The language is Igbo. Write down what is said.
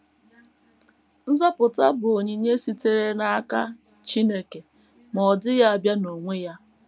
Nzọpụta bụ onyinye sitere n’aka Chineke, ma ọ dịghị abịa n’onwe ya.